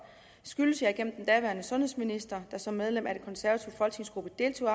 skyldes jeg gennem den daværende sundhedsminister der som medlem af den konservative folketingsgruppe deltog